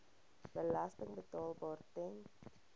belasting betaalbaar ten